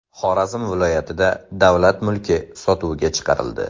Xorazm viloyatida davlat mulki sotuvga chiqarildi.